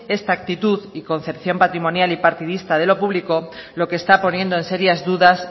esta actitud y concepción patrimonial y partidista de lo público lo que está poniendo en serias dudas